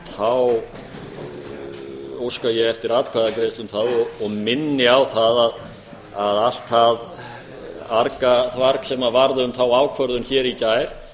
þá óska ég eftir atkvæðagreiðslu um það og minni á það að allt það argaþvarg sem varð um þá ákvörðun hér í gær